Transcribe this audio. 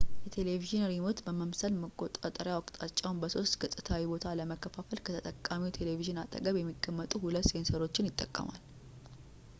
የቴሌቪዥን ሪሞት በመምሰል መቆጣጠሪያው አቅጣጫውን በሶስት-ገፅታዊ ቦታ ለመከፋፈል ከተጠቃሚው ቴሌቪዥን አጠገብ የሚቀመጡ ሁለት ሴንሰሮችን ይጠቀማል